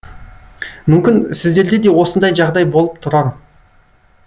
мүмкін сіздерде де осындай жағдай болып тұрар